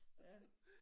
Ja